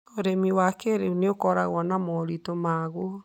Ũrĩmi wa kĩrĩu nĩ ũkoragwo na moritũ maguo.